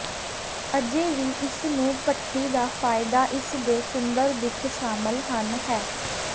ਅਜੇ ਵੀ ਇਸ ਨੂੰ ਭੱਠੀ ਦਾ ਫਾਇਦਾ ਇਸ ਦੇ ਸੁੰਦਰ ਦਿੱਖ ਸ਼ਾਮਲ ਹਨ ਹੈ